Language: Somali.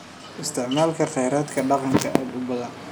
Isticmaalka kheyraadka deegaanka aad u badan.